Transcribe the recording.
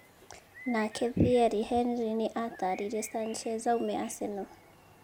Nake Thierry Henry nĩ atarire Sanchez aume Arsenal.